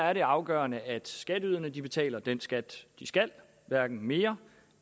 er det afgørende at skatteyderne betaler den skat de skal hverken mere